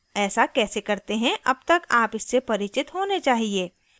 ऐसा कैसे करते हैं अब तक आप इससे परिचित होने चाहिए